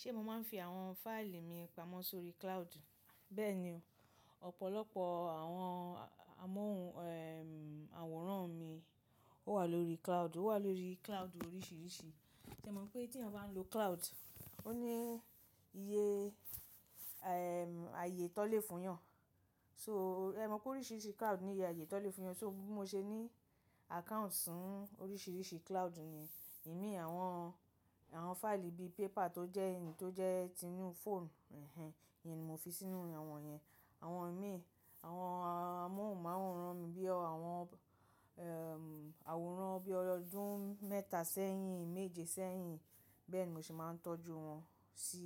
Ṣé mo máa ń fi àwọn fáìlì mi pamọ́ sórí cloud? Bẹ́ẹ̀ ni, ọ̀pọ̀lọpọ̀ àwọn amóhùn àwòrán mi ó wà lórí cloud, ó wà lórí cloud oríṣiríṣi. Ṣé o mọ̀ pé tí a bá ń lo cloud, ó ní iye, ayé tó lè fún yàn? So, ẹ mọ̀ pé oríṣiríṣi cloud ní iye ayé tó lè fún yàn. So bi mo ṣe ní account fún oríṣiríṣi cloud ni. Imi àwọn, àwọn fáìlì bí paper tó jẹ́ in tó jẹ́ tinu fọ̀n, ehen ehen, yìn ni mo fi sínú àwọn yẹn. Àwọn imi, àwọn amóhùn màwòrán mi bí i àwọn àwòrán bí i ọdún mẹ́ta sẹ́yìn, méje sẹ́yìn, bẹ́ẹ̀ ni mo semáa ń tọ́jú wọn sí